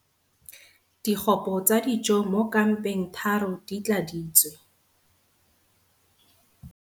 Digopo tsa dijo mo kampeng 3 di tladitswe.